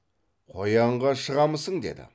қоянға шығамысың деді